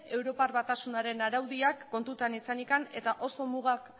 europar batasunaren araudiak kontutan izanik eta oso muga